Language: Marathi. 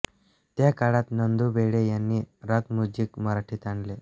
त्या काळात नंदू भेडे यांनी रॉक म्युझिक मराठीत आणले